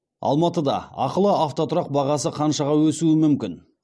алматыда ақылы автотұрақ бағасы қаншаға өсуі мүмкін